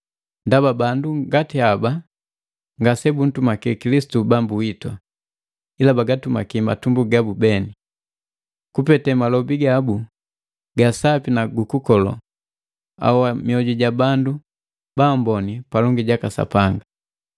ndaba bandu ngati haba ngase buntumaki Kilisitu Bambu witu, ila bagatumaki matumbu gabu beni. Kupete malobi gabu gaasapi na gukukolo, ahoa mioju ja bandu baamboni palongi jaka Sapanga.